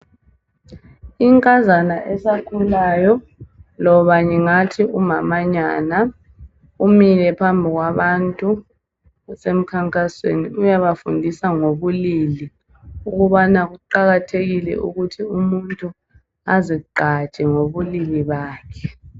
Inkazana esakhulayo loba ngingathi umamanyana umile phambi kwabantu kusemkhankasweni uyabafundisa ngobulili ukubana kuqakathekile ukubana umuntu azigqaje ngobulili bakhe.